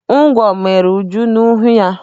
Ngwọ mere Uju n'ihu ya.